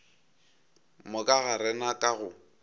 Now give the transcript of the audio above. moka ga rena ka go